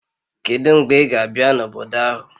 Kedu mgbe ị ga-abịa n'obodo ahụ?